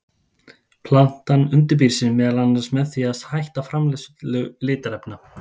Plantan undirbýr sig meðal annars með því að hætta framleiðslu litarefna.